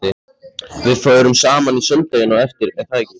Við förum saman í sundlaugina á eftir, er það ekki?